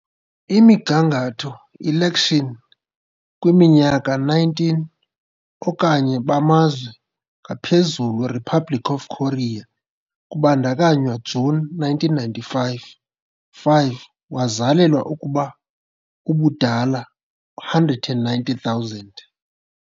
Imigangatho Election kwiminyaka 19 okanye bamazwe ngaphezulu Republic of Korea kubandakanywa June 1995 5 wazalelwa ukuba ubudala 190 000